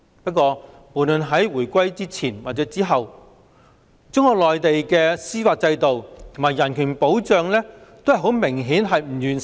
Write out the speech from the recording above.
不過，無論在回歸前或回歸後，中國內地的司法制度及人權保障均明顯不完善。